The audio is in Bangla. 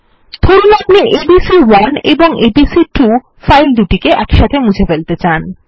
ধরুন আপনি এবিসি1 এবং এবিসি2 ফাইল দুটি মুছে ফেলাত়ে চান